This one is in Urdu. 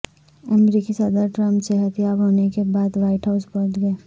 امریکی صدر ٹرمپ صحت یاب ہونے کے بعد وائٹ ہاوس پہنچ گئے